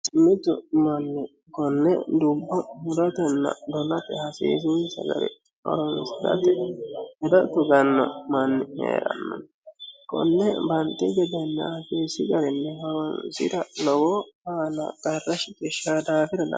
Mittu Mani konne dubbo guddattena dolatte hassisinisa garinni horonisirata hedo tuggano manni heerano konne banixxi gedena hasiisi garinni horonisirata lowo aana qarra shiqqshano daafira